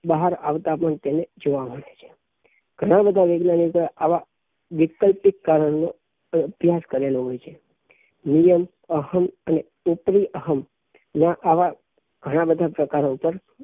બહાર આવતા પણ તેને જોવા મળે છે ઘણા બધા વૈજ્ઞાનિકો એ આવા વૈકલ્પિક કારણો ને અભ્યાસ કરેલો હોઈ છેનીલઅહં અહં અને ઉપરી અહં ને આવા ઘણાં બધાં પ્રકારો ઉપર